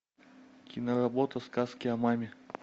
киноработа сказки о маме